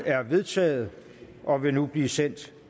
er vedtaget og vil nu blive sendt